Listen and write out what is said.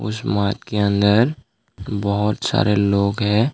उस के अंदर बहोत सारे लोग हैं।